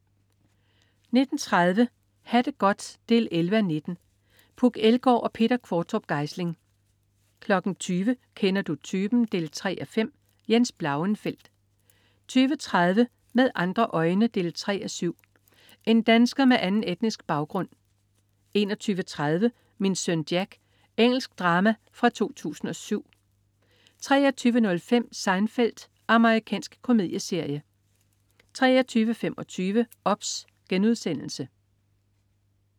19.30 Ha' det godt 11:19. Puk Elgård og Peter Qvortrup Geisling 20.00 Kender du typen? 3:5. Jens Blauenfeldt 20.30 Med andre øjne 3:7. En dansker med anden etnisk baggrund 21.30 Min søn Jack. Engelsk drama fra 2007 23.05 Seinfeld. Amerikansk komedieserie 23.25 OBS*